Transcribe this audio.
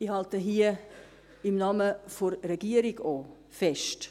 Ich halte hier, auch im Namen der Regierung, Folgendes fest;